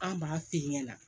An b'a f'i ɲɛna